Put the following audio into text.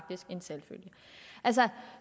en selvfølge